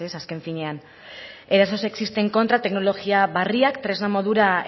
azken finean eraso sexisten kontra teknologia berriak tresna modura